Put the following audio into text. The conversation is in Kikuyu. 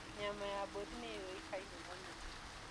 Nyama ya mbũri nĩyũĩkaine mũno.